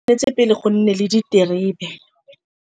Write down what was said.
Tshwan'tse pele go nne le diterebe.